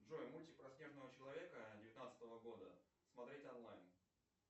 джой мультик про снежного человека девятнадцатого года смотреть онлайн